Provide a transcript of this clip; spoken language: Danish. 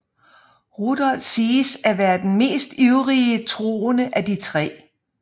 Rudolf siges at være den mest ivrige troende af de tre